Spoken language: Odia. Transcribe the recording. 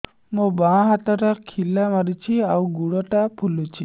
ମୋ ବାଆଁ ହାତଟା ଖିଲା ମାରୁଚି ଆଉ ଗୁଡ଼ ଟା ଫୁଲୁଚି